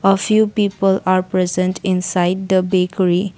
a few people are present inside the bakery.